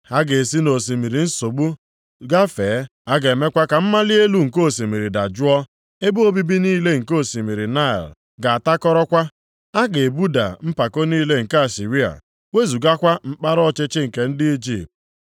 Ha ga-esi nʼosimiri nsogbu gafee. A ga-emekwa ka mmali elu nke osimiri dajụọ. Ebe obibi niile nke osimiri Naịl ga-atakọrọkwa. A ga-egbuda mpako niile nke Asịrịa, wezugakwa mkpara ọchịchị nke ndị Ijipt.